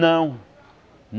Não.